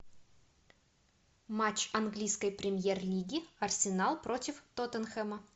матч английской премьер лиги арсенал против тоттенхэма